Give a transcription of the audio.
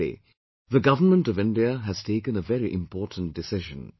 Recently, the Government of India has taken a very important decision